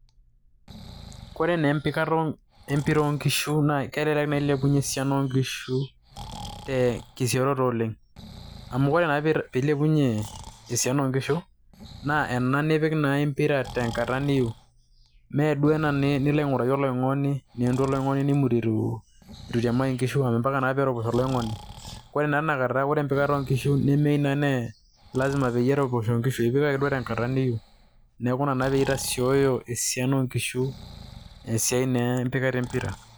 Kore naa empikata e mpira oo nkishu naa kelelek naa ilepunye esiana o nkishu te te sioroto oleng', amu kore naa piilepunye esiana o nkishu naa ena nipik naa e mpira tenkata niyiu, mee ena duo nilo aing'uraki olaing'oni neentu olaing'oni nimuti itu itiamaki nkishu amu mpaka naa neroposho oloing'oni. Ore naa tina kata kore empikata o nkishu naa nemeyiu naa nee lazima pee eroposho nkishu piipik ake duo tenkata niyiu. Neeku ina naa pee itasioyo esiana o nkishu esiai naa empikata e mpira.